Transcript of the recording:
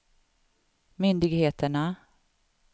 myndigheterna